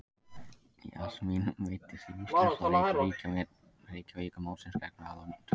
Jasmín meiddist í úrslitaleik Reykjavíkurmótsins gegn Val á dögunum.